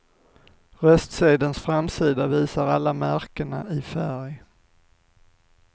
Röstsedelns framsida visar alla märkena i färg.